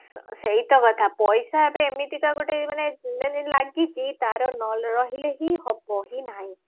ସେଇଟା କଥା ପଇସା ଏବେ ଏମିତିକା ଗୋଟେ ମାନେ ମାନେ ଲାଗିଛି ତାର ରହିଲେ ବି ହବ ହିଁ ନାହିଁ